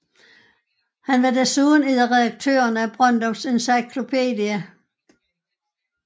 Han var desuden en af redaktørerne af Brøndums Encyklopædi